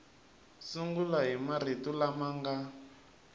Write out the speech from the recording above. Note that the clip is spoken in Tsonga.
sungula hi marito lama nga